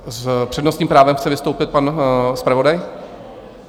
S přednostním právem chce vystoupit pan zpravodaj?